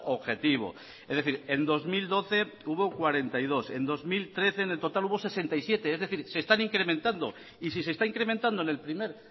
objetivo es decir en dos mil doce hubo cuarenta y dos en dos mil trece en el total hubo sesenta y siete es decir se están incrementando y si se está incrementando en el primer